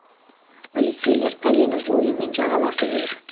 полицейлер пәлені жоюмен жағаласып жүр